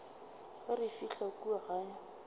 ge re fihla kua gae